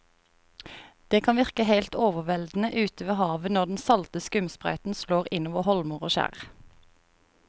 Det kan virke helt overveldende ute ved havet når den salte skumsprøyten slår innover holmer og skjær.